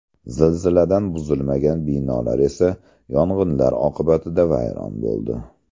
Zilziladan buzilmagan binolar esa yong‘inlar oqibatida vayron bo‘ldi.